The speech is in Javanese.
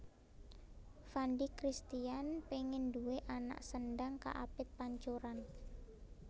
Fandi Christian pengen duwe anak sendhang kaapit pancuran